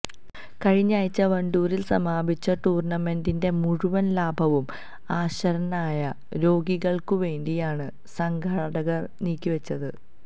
കഴിഞ്ഞയാഴ്ച വണ്ടൂരില് സമാപിച്ച ടൂര്ണമെന്റിന്െറ മുഴുവന് ലാഭവും അശരണരായ രോഗികള്ക്കുവേണ്ടിയാണ് സംഘാടകര് നീക്കിവെച്ചത്